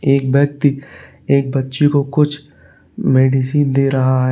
एक व्यक्ति एक बच्ची को कुछ मेडिसिन दे रहा है।